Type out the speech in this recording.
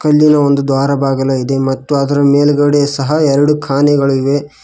ಇಲ್ಲಿ ಒಂದು ದ್ವಾರ ಬಾಗಿಲಿದೆ ಮತ್ತು ಅದರ ಮೇಲ್ಗಡೆ ಸಹ ಎರಡು ಖಾನೆಗಳಿವೆ.